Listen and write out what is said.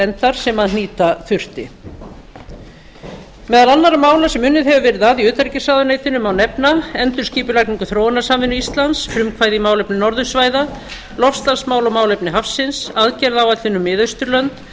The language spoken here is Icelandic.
endar sem hnýta þurfti meðal annarra mála sem unnið hefur verið að í utanríkisráðuneytinu má nefna endurskipulagningu þróunarsamvinnu íslands frumkvæði í málefnum norðursvæða loftslagsmál og málefni hafsins aðgerðaáætlun um miðausturlönd